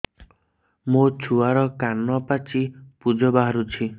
ମୋ ଛୁଆର କାନ ପାଚି ପୁଜ ବାହାରୁଛି